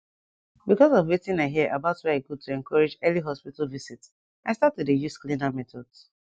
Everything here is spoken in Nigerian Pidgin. because of wetin i hear about why e good to encourage early hospital visit i start to dey use cleaner methods